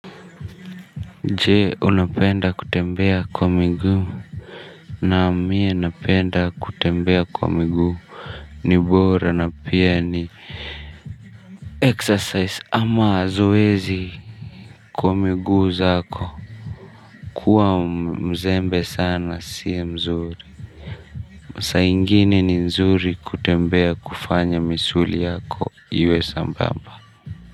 Je unapenda kutembea kwa miguu. Naam mie napenda kutembea kwa miguu. Nibora na pia ni Exercise ama zoezi. Kwa miguu zako kuwa mzembe sana sia mzuri. Saa ingine ni nzuri kutembea kufanya misuli yako iwe sambamba.